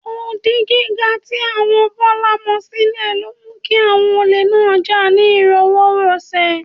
Odi gíga tí àwọn Bọ́lá mọ sílé ló mú kí àwọn olè náà jà ní ìrọwọ́rọsẹ̀